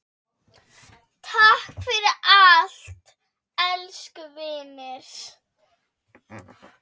Takk fyrir allt, elsku vinur.